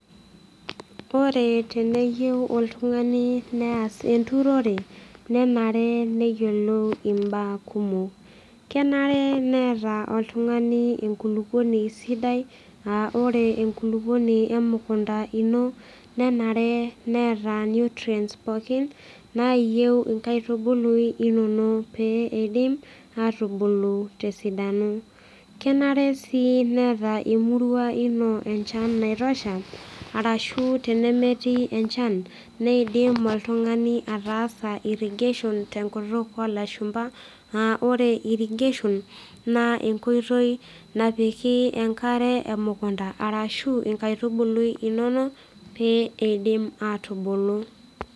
Ore teneyieu oltung'ani neas enturore nenare neyiolou mbaa kumok, kenare neeta oltung'ani enkulukuoni sidai a ore enkulukuoni emukunda ino nenare neeta nutrients pookin nayieu enkaitubulu inonok pee edim atubulu, esidai kenare si neeta emurua ino enchan naitosha arashutenemetii enchan nidim oltung'ani ataasa irrigation tenkop olashumba aa ore irrigation na enkoitoi napiki enkare emukunda arashu nkaitubulu inonok pee eidim atubulu.